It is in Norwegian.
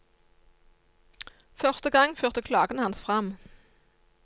Første gang førte klagen hans frem.